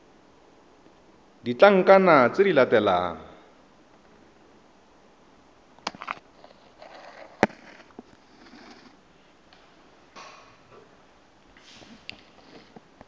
le ditlankana tse di latelang